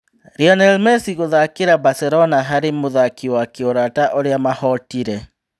Lina Mesi gũthakĩra Baselona harĩ mũthaki wa kĩũrata ũrĩa mahootire.